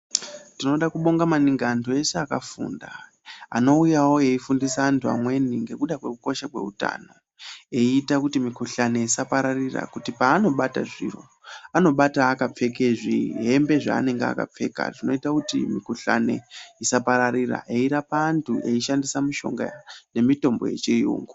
Tinoda kubonga maningi antu ese akafunda, anowuyawo eyifundisa antu amweni ngekuda kwekosha kwewutano. Eyita kuti mikhuhlane isapararira kuti panobata zviro, anobata akapfeke zvihembe zvanenge akapfeka zvinoyita kuti mikhuhlane isapararira, eyirapa antu eyirapa antu eyishandisa mishonga nemitombo yechiyungu.